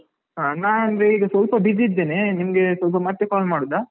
ಹಾ ನಾನಂದ್ರೆ ಈಗ ಸ್ವಲ್ಪ busy ಇದ್ದೇನೆ ನಿಮ್ಗೆ ಸ್ವಲ್ಪ ಮತ್ತೆ call ಮಾಡುದಾ?